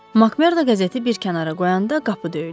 Makmerdo qəzeti bir kənara qoyanda qapı döyüldü.